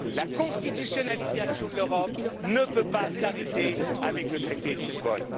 l'histoire. La constitutionnalisation de l'Europe ne peut pas s'arrêter avec le traité